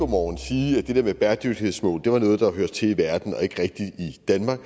morgen sige at det der med bæredygtighedsmål var noget der hørte til ude i verden og ikke rigtig i danmark